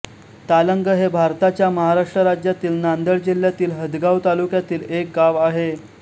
तालंग हे भारताच्या महाराष्ट्र राज्यातील नांदेड जिल्ह्यातील हदगाव तालुक्यातील एक गाव आहे